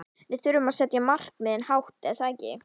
Við þurfum að setja markmiðin hátt er það ekki?